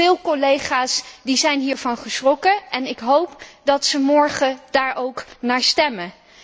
Veel collega's zijn hiervan geschrokken en ik hoop dat ze morgen daar ook naar stemmen.